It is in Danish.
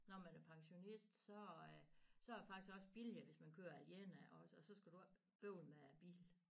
Når man er pensionist så øh så er det faktisk også billigere hvis man kører alene også og så skal du ikke bøvle med at have bil